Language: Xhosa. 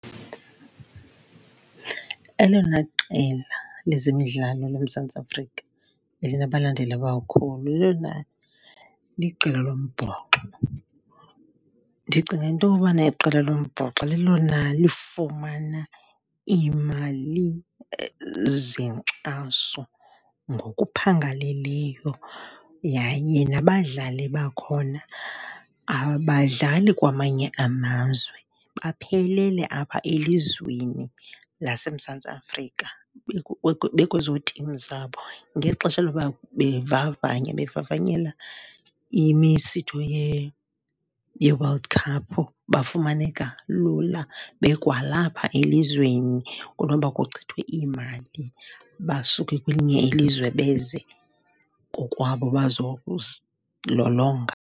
Elona qela lezemidlalo loMzantsi Afrika elinabalandeli abakhulu liqela lombhoxo. Ndicinga into yobana iqela lombhoxo lelona lifumana imali zenkxaso ngokuphangaleleyo yaye nabadlali bakhona abadlali kwamanye amazwe, baphelele apha elizweni laseMzantsi Afrika bekwezo tim zabo. Ngexesha loba bevavanya bevavanyela imisitho ye-World Cup bafumaneka lula bekwalapha elizweni, kunoba kuchithwe imali basuke kwelinye ilizwe beze kokwabo .